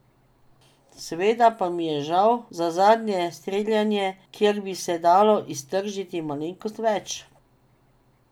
Seveda pa mi je žal za zadnje streljanje, kjer bi se dalo iztržiti malenkost več.